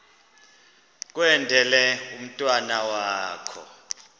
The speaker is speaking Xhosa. kwendele umntwana wakho